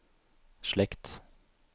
slekt